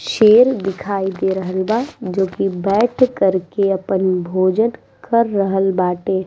शेर दिखाई दे रहल बा जो की बैठ कर के आपन भोजन कर रहा ल बाटे।